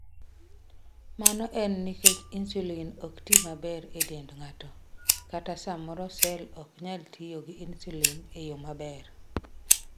Mano en nikech insulin ok ti maber e dend ng'ato, kata samoro cell ok nyal tiyo gi insulin e yo maber.